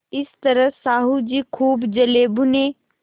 इस तरह साहु जी खूब जलेभुने